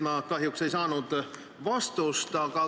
Ma kahjuks ei saanud vastust.